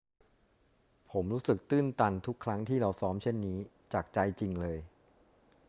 ผมรู้สึกตื้นตันทุกครั้งที่เราซ้อมเช่นนี้ จากใจจริงเลย